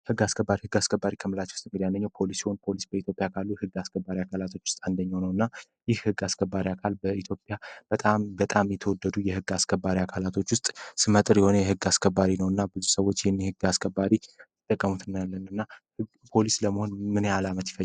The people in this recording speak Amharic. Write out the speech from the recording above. የሕግ አስከባሪ የህግ አስከባሪ ከምላች ውስጥ እምዲያለኝው ፖሊስ ሆን ፖሊስ በኢትዮጵያ ካሉ ሕግ አስከባሪ አካላቶች ውስጥ አንደኛው ነው እና ይህ ሕግ አስከባሪ አካል በኢትዮያ በጣም የተወደዱ የሕግ አስከባሪ አካላቶች ውስጥ ስመጥር የሆነ የሕግ አስከባሪ ነው እና ብዙ ሰዎች የኒህ ህግ አስከባሪ ይጠቀሙትናያለን እና ፖሊስ ለመሆን ምነ ያህል አመት ይፈጃል?